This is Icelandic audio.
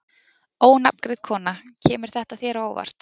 Ónafngreind kona: Kemur þetta þér á óvart?